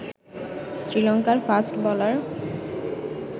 শ্রীলংকার fast bowler